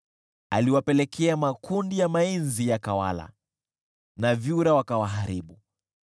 Aliwapelekea makundi ya mainzi yakawala, na vyura wakawaharibu.